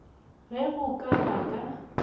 ge go ka ba ka